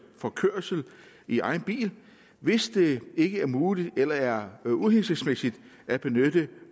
for kørsel i egen bil hvis det ikke er muligt eller er uhensigtsmæssigt at benytte